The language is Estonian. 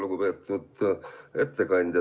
Lugupeetud ettekandja!